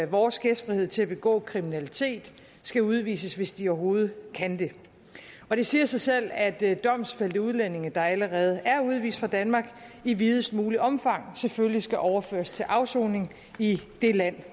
vores gæstfrihed til at begå kriminalitet skal udvises hvis de overhovedet kan det og det siger sig selv at domfældte udlændinge der allerede er udvist fra danmark i videst muligt omfang selvfølgelig skal overføres til afsoning i det land